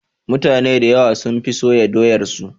Mutane dayawa sun fi soya doyar su